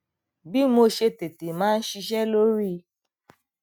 bí mo ṣe tètè máa ń ṣise lori